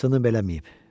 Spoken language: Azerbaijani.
Sınıb eləməyib.